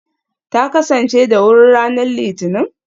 Ta kasance da wuri ranar Litinin?